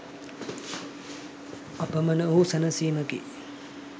අපමණ වූ සැනසීමකි.